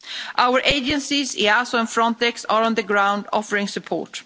Our agencies EASO and Frontex are on the ground offering support.